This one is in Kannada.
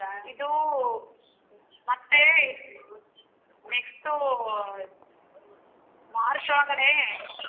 ಇದು ಮತ್ತೆ next March ಒಳಗಡೆ.